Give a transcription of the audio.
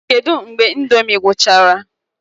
Kedu mgbe ị̀ndómị́ gwụchara?